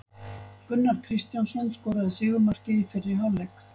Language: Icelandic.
Gunnar Kristjánsson skoraði sigurmarkið í fyrri hálfleik.